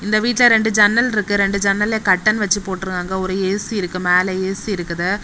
இந்த வீட்ல ரெண்டு ஜன்னல் இருக்கு ரெண்டு ஜன்னல கர்ட்டன் வச்சு போட்ருகாங்க ஒரு ஏ_சி இருக்கு மேல ஏ_சி இருக்குது.